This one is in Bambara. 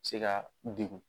Se ka u degun